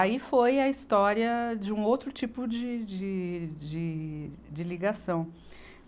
Aí foi a história de um outro tipo de, de, de, de ligação.